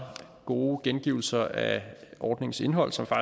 gode gengivelser af ordningens indhold som der